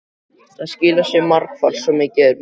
Það skilar sér margfalt, svo mikið er víst.